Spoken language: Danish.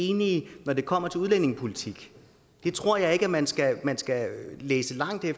enige når det kommer til udlændingepolitikken det tror jeg ikke man skal man skal læse langt ned